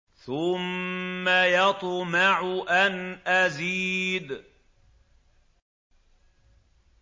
ثُمَّ يَطْمَعُ أَنْ أَزِيدَ